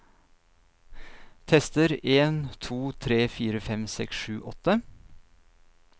Tester en to tre fire fem seks sju åtte